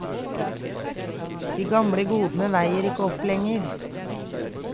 De gamle godene veier ikke opp lenger.